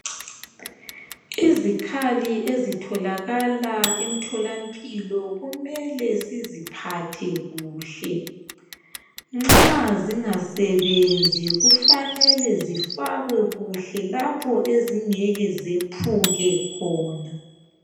Izikhali ezitholakala emtholampilo kumele siziphathe kuhle nxa zingasebenzi kufanele zifakwe lapho ezingasoze zephuke khona